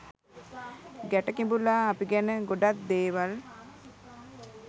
ගැට කිඹුලා අපි ගැන ගොඩක් දේවල්